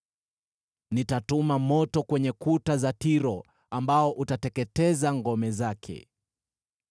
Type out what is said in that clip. Nitatuma moto kwenye kuta za Tiro ambao utateketeza ngome zake.”